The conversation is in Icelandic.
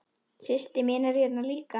Systir mín er hérna líka.